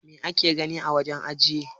Mai ake gani a wajen ajiye?